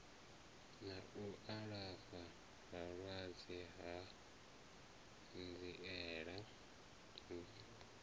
na u alafha vhalwadze hanziela